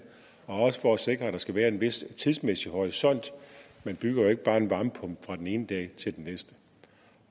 også for at sikre at der skal være en vis tidsmæssig horisont man bygger jo ikke bare en varmepumpe fra den ene dag til den næsten